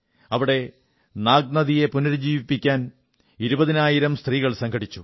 അവിടെ നാഗ് നദിയെ പുനരുജ്ജീവിപ്പിക്കാൻ ഇരുപതിനായിരം സ്ത്രീകൾ സംഘടിച്ചു